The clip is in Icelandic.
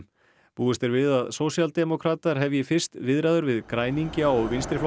búist er við að sósíaldemókratar hefji fyrst við græningja og